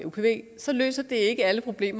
det er